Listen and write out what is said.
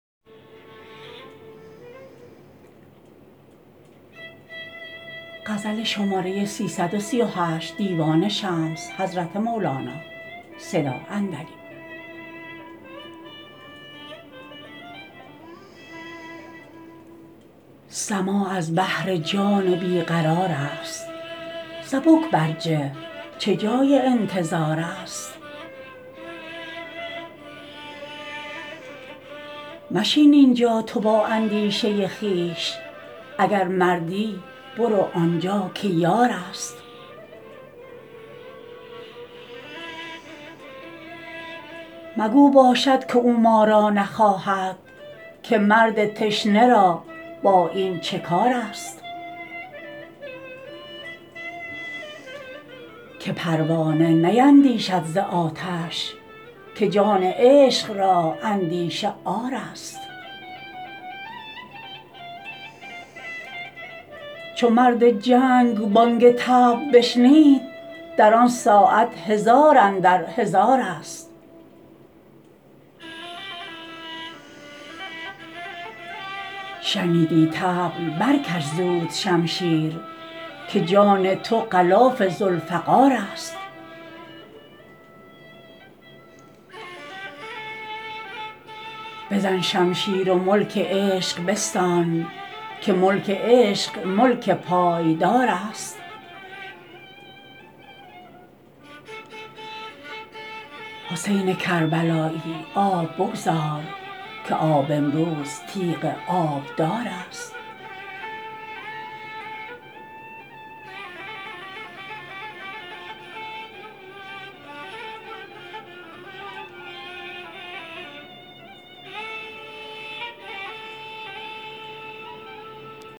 سماع از بهر جان بی قرارست سبک برجه چه جای انتظارست مشین این جا تو با اندیشه خویش اگر مردی برو آن جا که یارست مگو باشد که او ما را نخواهد که مرد تشنه را با این چه کارست که پروانه نیندیشد ز آتش که جان عشق را اندیشه عارست چو مرد جنگ بانگ طبل بشنید در آن ساعت هزار اندر هزارست شنیدی طبل برکش زود شمشیر که جان تو غلاف ذوالفقارست بزن شمشیر و ملک عشق بستان که ملک عشق ملک پایدارست حسین کربلایی آب بگذار که آب امروز تیغ آبدارست